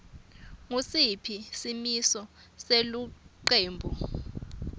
ngusiphi simiso selucwebu